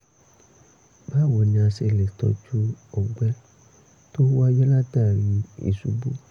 báwo ni a ṣe lè tọ́jú ọgbẹ́ tó wáyé látàri ìṣubú?